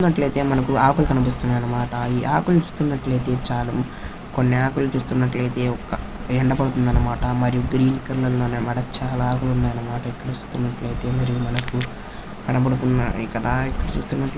చూడ్డానికి అయితే మనకు ఆకులు కనిపిస్తున్నాయన్నమాట. ఈ ఆకులు చూస్తున్నట్టు అయితే కొన్ని ఆకులు చూస్తునట్లు అయితే ఒక ఎండ కొడుతుంది అన్నమాట.మరియు గ్రీన్ కలర్ లో ఉన్నాయన్నమాట. చాలా ఆకులు ఉన్నాయన్నమాట ఇక్కడ చూస్తున్నట్లు అయితే మరియు మనకు కనబడుతున్నాయి కదా ఇక్కడ చూస్తున్నట్లు.